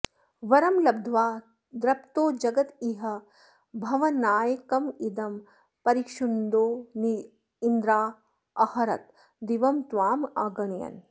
वरं लब्ध्वा दृप्तो जगदिह भवन्नायकमिदं परिक्षुन्दन्निन्द्रादहरत दिवं त्वामगणयन्